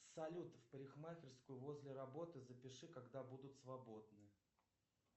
салют в парикмахерскую возле работы запиши когда будут свободны